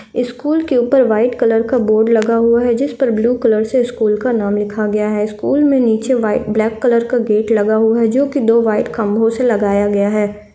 School के ऊपर white colour का बोर्ड लगा हुआ है जिस पर ब्लू कलर से स्कूल का नाम लिखा गया है स्कूल में नीचे वाइट ब्लैक कलर का गेट लगा हुआ है जोकि दो वाइट खम्बा सो लगाया गया है।